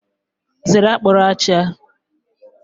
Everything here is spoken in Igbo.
Zere akpuruachia!